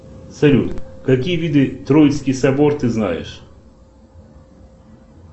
салют какие виды троицкий собор ты знаешь